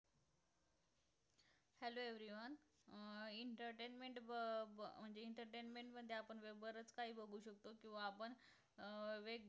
hello everyone entertainment व व मध्ये बरच काही बगु शकतो आपण वेग